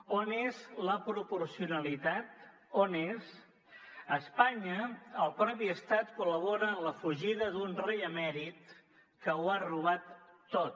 on és la proporcionalitat on és a espanya el mateix estat col·labora en la fugida d’un rei emèrit que ho ha robat tot